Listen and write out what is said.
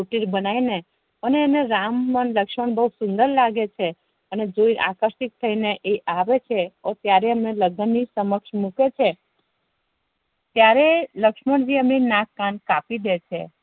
બનાવી ને અને એને રામ પણ લક્ષ્મણ પણ બવ સુંદર લાગે છે અને તે અકેર્ષિત થઇ ને એ આવે છે ત્યારે એમ ને લગ્ન ની સમક્ષ મુકે છે ત્યારે લક્ષ્મણજી નાક કાપીદે છે